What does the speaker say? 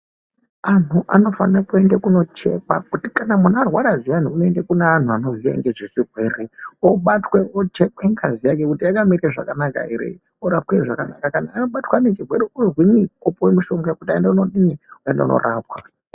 Antu anofane kuende kunochekwa kuti kana munhu arwara zviyani unoende kune anhu vanoziya ngezvechirwere obatwe ochekwe ngazi yake kuti yakaeme zvakanaka here orapwe zvakanaka. Kana abatwa aine chirwere ozwinyi, opuwe mushonga kuti aende koodini, aende kunorapwa.